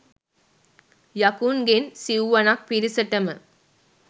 යකුන්ගෙන් සිව්වනක් පිරිසටම